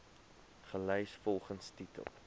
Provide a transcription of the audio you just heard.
gelys volgens titel